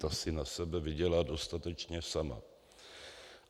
Ta si na sebe vydělá dostatečně sama.